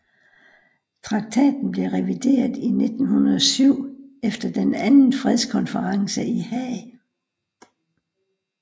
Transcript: Traktaten blev revideret i 1907 efter den anden fredskonferencen i Haag